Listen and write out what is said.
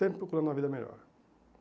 Sempre procurando uma vida melhor.